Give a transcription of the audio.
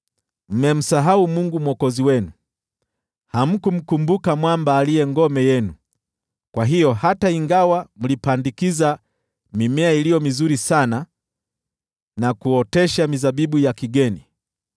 Mmemsahau Mungu Mwokozi wenu, hamkumkumbuka Mwamba aliye ngome yenu. Kwa hiyo, hata ingawa mlipandikiza mimea iliyo mizuri sana na kuotesha mizabibu ya kigeni,